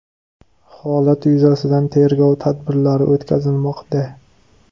Holat yuzasidan tergov tadbirlari o‘tkazilmoqda.